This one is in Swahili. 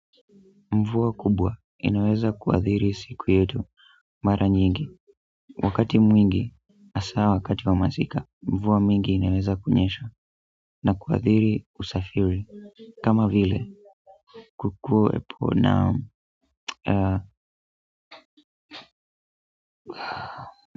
Mvua kubwa inaweza kuadhiri siku yetu mara nyingi, wakati mwingi hasa wakati wa masika, mvua mingi inaweza kunyesha na kuadhiri usafiri kama vile kukuwepo na.